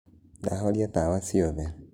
Ndahorĩa tawa cĩothe.